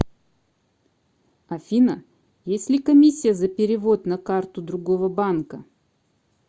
афина есть ли комиссия за перевод на карту другого банка